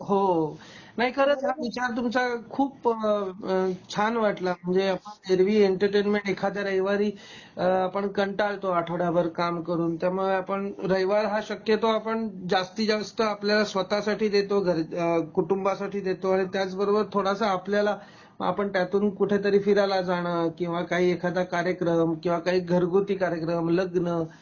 हो, हो नाही खरंच विचार तुमच्या खूप छान वाटल म्हणजे ऐरवी एंटरटेनमेंट एखाद्या रविवारी अ आपण कंटाळतो आठवडा भर काम करून त्यामुळे आपण रविवारी हा शक्यतो आपण जास्तीत जास्त आपल्या स्वत:साठी देतो घरच्यासाठी अ कुटुंबासाठी देतो आणि त्याच बरोबर थोडासा आपल्याला आपण काही तरी कुठे तरी फिरायला जाण किंवा काही एखादा कार्यक्रम किंवा घरघुती कार्यक्रम, लग्न